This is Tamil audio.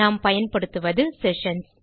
நாம் பயன்படுத்துவது செஷன்ஸ்